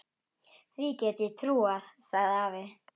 Því get ég trúað, sagði afi.